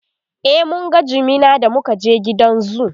e mun ga jimina da muka je gidan zoo